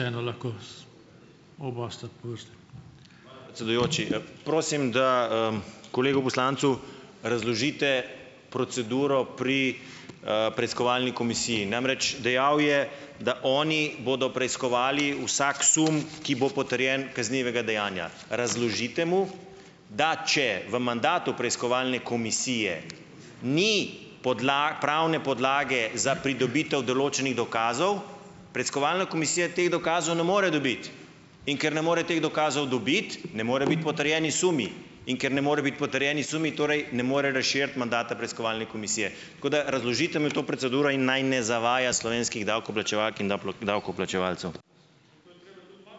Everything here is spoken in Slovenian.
Predsedujoči. Prosim, da, kolegu poslancu razložite proceduro pri, preiskovalni komisiji. Namreč, dejal je, da oni bodo preiskovali vsak sum, ki bo potrjen kaznivega dejanja. Razložite mu , da če v mandatu preiskovalne komisije ni pravne podlage za pridobitev določenih dokazov, preiskovalna komisija teh dokazov ne more dobiti. In ker ne more teh dokazov dobiti, ne morejo biti potrjeni sumi . In ker ne morejo biti potrjeni sumi, torej ne morejo razširiti mandata preiskovalne komisije. Tako da razložite mi to proceduro in naj ne zavaja slovenskih davkoplačevalk in davkoplačevalcev.